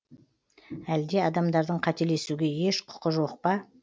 әлде адамдардың қателесуге еш құқы жоқ па